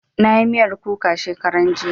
Na yi miyar kuka shekaran jiya